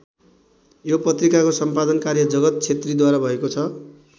यो पत्रिकाको सम्पादन कार्य जगत छेत्रीद्वारा भएको छ।